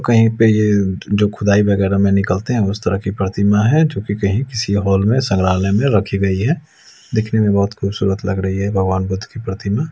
कहीं पे ये जो खुदाई वगैरा में निकलते है उस तरह की प्रतिमा है जो कहीं किसी हॉल में संग्रहालय में रखी गई है देखने में बहोत खूबसूरत लग रही है भगवान बुद्ध की प्रतिमा--